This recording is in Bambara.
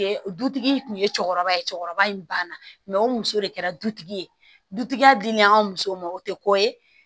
Dutigi kun ye cɛkɔrɔba ye cɛkɔrɔba in banna o muso de kɛra dutigi ye dutigi dili an musow ma o tɛ ko ye